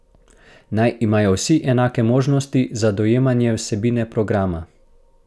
Naj imajo vsi enake možnosti za dojemanje vsebine programa!